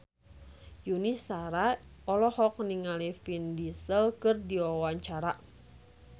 Yuni Shara olohok ningali Vin Diesel keur diwawancara